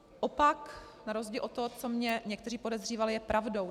Opak na rozdíl od toho, co mě někteří podezřívali, je pravdou.